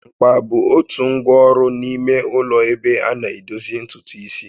Mkpa bụ otu ngwa ọrụ n'ime ụlọ ebe ana edozi ntutu isi